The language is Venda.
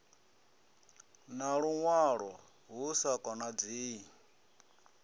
na luṅwalo hu sa khanadzei